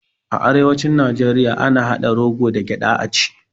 A arewacin najeriya ana haɗa rogo da gyaɗa a ci